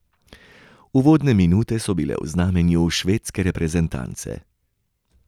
Uvodne minute so bile v znamenju švedske reprezentance.